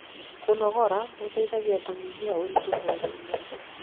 kũnogora gũteithagia kunyihia uritu mwĩrĩ-ini